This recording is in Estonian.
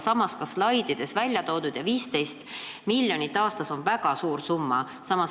Samas on see ka slaidides välja toodud ja 15 miljonit aastas on väga suur summa.